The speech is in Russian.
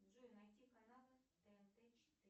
джой найди каналы тнт четыре